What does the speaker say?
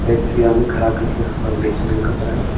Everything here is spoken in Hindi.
या में खड़ा करके रखा बेचने वाला कपड़ा।